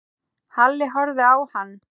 Halli horfði á hann.